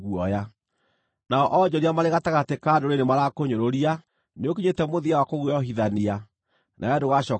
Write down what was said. Nao onjoria marĩ gatagatĩ ka ndũrĩrĩ nĩmarakũnyũrũria; nĩũkinyĩte mũthia wa kũguoyohithania, nawe ndũgacooka kuonwo rĩngĩ.’ ”